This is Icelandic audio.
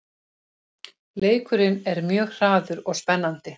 Leikurinn er mjög hraður og spennandi